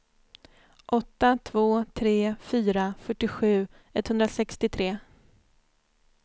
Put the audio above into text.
åtta två tre fyra fyrtiosju etthundrasextiotre